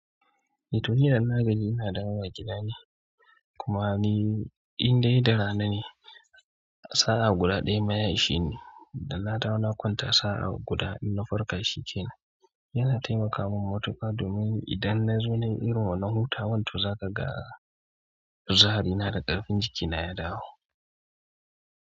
Eh to ni yanzu na gaji ina dawowa gida ne. Kuma ni in dai da rana ne sa'a guda ɗaya ma ya isheni. Da na dawo na konta sa'a guda in na farka shi kenan. Yana taimaka min matuƙa domin idan na zo na yi irin wannan hutawan to za ka ga zaharina da ƙarfin jikina ya dawo.